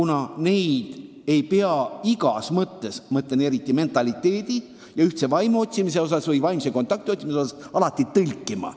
Me ei pea neid teadustöid igas mõttes, ka mentaliteedi ja ühtse vaimu otsimise mõttes alati tõlkida laskma.